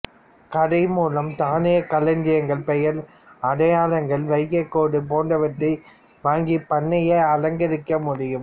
கடை மூலம் தானியக் களஞ்சியங்கள் பெயர் அடையாளங்கள் வைக்கோற்கேடு போன்றவற்றை வாங்கிப் பண்ணையை அலங்கரிக்க முடியும்